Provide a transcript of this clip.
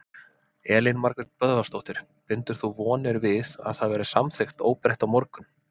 Elín Margrét Böðvarsdóttir: Bindur þú vonir við að það verði samþykkt óbreytt á morgun?